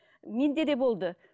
менде де болды